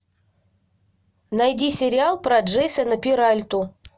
найди сериал про джейсона перальту